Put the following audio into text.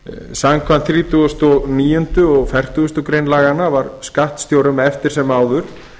samkvæmt þrítugustu og níundu greinar og fertugasta grein laganna var skattstjórum eftir sem áður